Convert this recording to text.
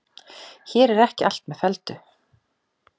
Hér er ekki allt með felldu.